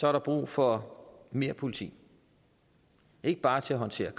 er der brug for mere politi ikke bare til at håndtere